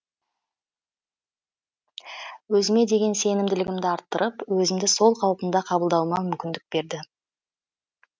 өзіме деген сенімділігімді арттырып өзімді сол қалпымда қабылдауыма мүмкіндік берді